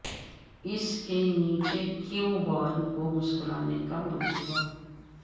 اس کے نیچے cue ball کو مسکرانے کا منصوبہ